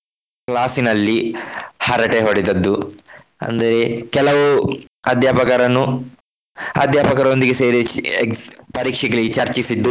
Class ನಲ್ಲಿ ಹರಟೆ ಹೊಡೆದದ್ದು. ಅಂದ್ರೆ ಕೆಲವು ಅಧ್ಯಾಪಕರನ್ನು ಅಧ್ಯಾಪಕರೊಂದಿಗೆ ಸೇರಿ ಪರೀಕ್ಷೆಗೆ ಚರ್ಚಿಸಿದ್ದು.